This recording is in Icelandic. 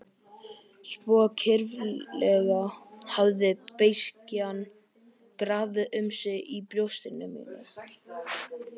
Svo kyrfilega hafði beiskjan grafið um sig í brjósti mínu.